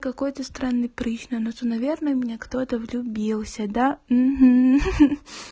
какой-то странный прыщ на носу наверное в меня кто-то влюбился да хи-хи